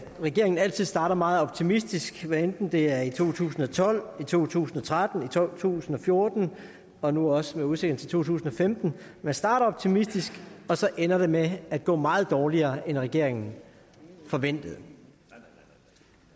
regeringen altid starter meget optimistisk hvad enten det er i to tusind og tolv to tusind og tretten to tusind og fjorten og nu også i udsigten tusind og femten starter man optimistisk og så ender det med at gå meget dårligere end regeringen forventer